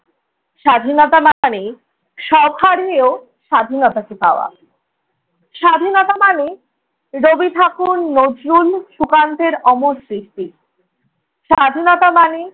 স্বাধীনতা মানেই সব হারিয়েও স্বাধীনতাকে পাওয়া, স্বাধীনতা মানে রবি ঠাকুর, নজরুল, সুকান্তের অমর স্মৃতি। স্বাধীনতা মানে